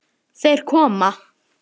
Þeir koma!